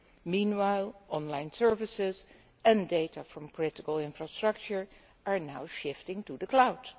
Meanwhile, online services and data from political infrastructure are now shifting to the Cloud.